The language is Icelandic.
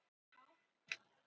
Þú sagðir það sjálfur